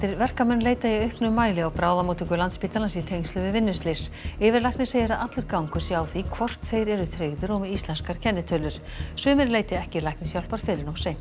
verkamenn leita í auknum mæli á bráðamóttöku Landspítalans í tengslum við vinnuslys yfirlæknir segir að allur gangur sé á því hvort þeir eru tryggðir og með íslenskar kennitölur sumir leiti ekki læknishjálpar fyrr en of seint